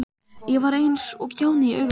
Ég var eins og kjáni í augum hans.